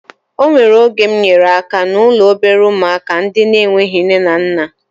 O nwere oge mụ nyere aka n'ụlọ obere ụmụaka ndị na-enweghị nne na nna